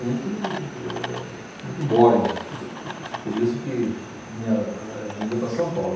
muito eh muito boring, por isso que minha eh vinda para São Paulo.